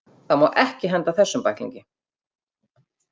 Það má ekki henda þessum bæklingi!